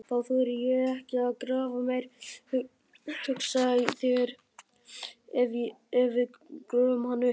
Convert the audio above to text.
Þá þori ég ekki að grafa meir, hugsaðu þér ef við gröfum hann upp!